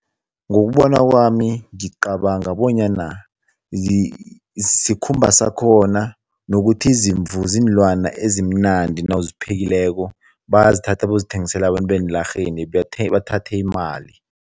Ngokubona kwami, ngicabanga bonyana sikhumba sakhona nokuthi izimvu ziinlwana ezimnandi nawuziphekileko, bayazithatha bayozithengisele abantu eenlarheni bathathe imali.